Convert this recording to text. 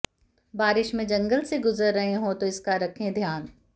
बारिश में जंगल से गुजर रहे हों तो इसका रखें ध्यान